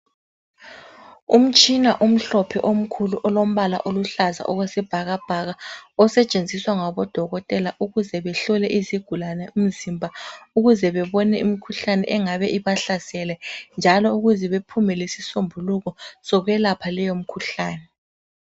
Umtshina omhlophe omkhulu olombala oluhlaza okwesibhakabhaka osetshenziswa ngabodokotela ukuze behlole izigulane umzimba ukuze bebone imkhuhlane engabe ibahlasele, njalo ukuze bephume lesisombuluko sokuyelapha leyo mkhuhlane.